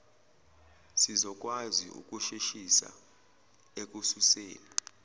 sizokwazi ukusheshisa ekususeni